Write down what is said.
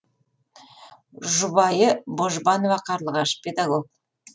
жұбайы божбанова қарлығаш педагог